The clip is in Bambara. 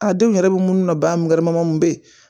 A denw yɛrɛ bɛ munnu na ba mun gɛrɛmɔrɔ mun bɛ yen